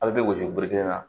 A bɛ gosi bere kelen na